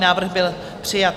Návrh byl přijat.